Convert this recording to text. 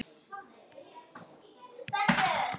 Engum liggur á.